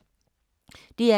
DR K